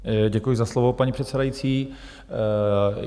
Děkuji za slovo, paní předsedající.